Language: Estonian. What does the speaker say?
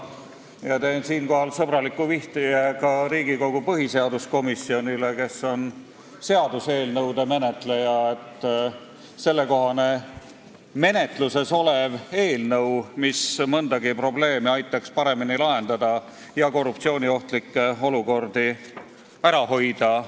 Ma teen siinkohal sõbraliku vihje ka Riigikogu põhiseaduskomisjonile, kes on seaduseelnõude menetleja, et menetluses on teemakohane eelnõu, mis aitaks mõndagi probleemi paremini lahendada ja korruptsiooniohtlikke olukordi ära hoida.